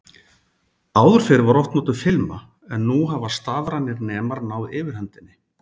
Áður fyrr var oft notuð filma, en nú hafa stafrænir nemar náð yfirhöndinni.